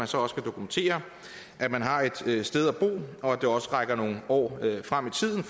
så også kan dokumentere at man har et sted at bo og at det rækker nogle år frem i tiden